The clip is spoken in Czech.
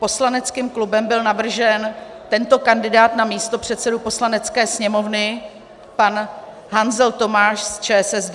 Poslaneckým klubem byl navržen tento kandidát na místopředsedu Poslanecké sněmovny: pan Hanzel Tomáš z ČSSD.